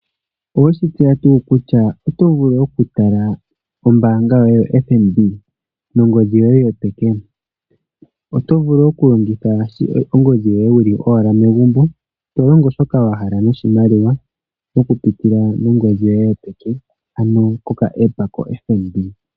Oweshi tseya tuu kutya oto vulu oku tala ombanga yotango yopashigwana nongodhi yoye yopeke oto vulu oku longitha ongodhi yoye wuli owala megumbo. To longo shoka wahala noshimaliwa oku pitila mongodhi yoye yopeke, oku pitila kokaApp kombanga yotango yopashigwana.